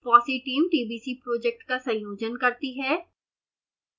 fossee team tbc project का संयोजन करती है